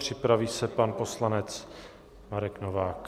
Připraví se pan poslanec Marek Novák.